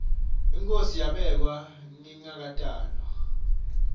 inkhosi yabekwa ngingakatalwa